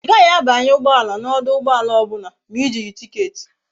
I gaghi a banye ugboala na oduugboala obula ma i jighi ticket